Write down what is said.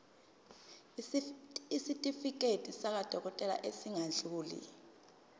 isitifiketi sakwadokodela esingadluli